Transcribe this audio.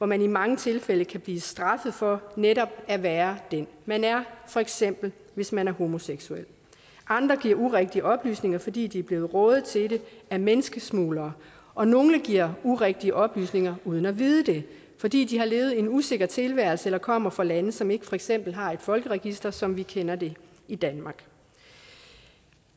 man i mange tilfælde kan blive straffet for netop at være den man er for eksempel hvis man er homoseksuel andre giver urigtige oplysninger fordi de er blevet rådet til det af menneskesmuglere og nogle giver urigtige oplysninger uden at vide det fordi de har levet en usikker tilværelse eller kommer fra lande som ikke for eksempel har et folkeregister som vi kender det i danmark